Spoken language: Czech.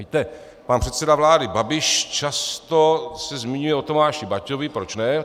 Víte, pan předseda vlády Babiš často se zmiňuje o Tomáši Baťovi, proč ne?